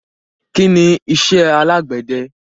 Kí ni iṣẹ́ alágbède?